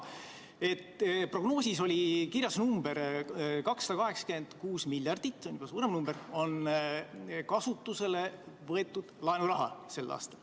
Prognoosis oli kirjas, et 2,86 miljardit eurot – see on juba suurem number – on sel aastal kasutusele võetav laenuraha.